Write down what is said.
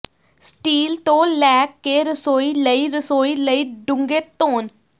steel ਤੋਂ ਲੈ ਕੇ ਰਸੋਈ ਲਈ ਰਸੋਈ ਲਈ ਡੂੰਘੇ ਧੋਣ